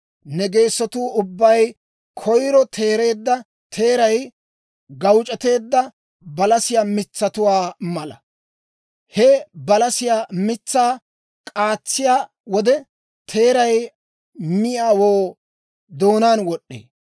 Ne geesatuu ubbay koyiro teereedda teeray gawuc'eteedda balasiyaa mitsatuwaa mala; he balasiyaa mitsaa k'aatsiyaa wode, teeray miyaawoo doonaan wod'd'ee.